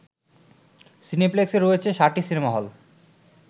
সিনেপ্লেক্সে রয়েছে সাতটি সিনেমা হল